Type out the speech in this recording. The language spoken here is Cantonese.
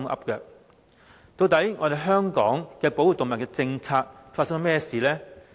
究竟香港的動物保護政策發生了甚麼事？